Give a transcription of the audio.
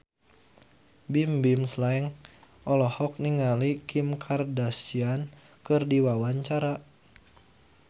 Bimbim Slank olohok ningali Kim Kardashian keur diwawancara